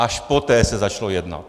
Až poté se začalo jednat.